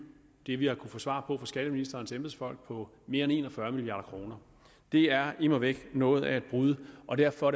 det vi har kunnet få svar på fra skatteministerens embedsfolk på mere end en og fyrre milliard kroner det er immer væk noget af et brud og derfor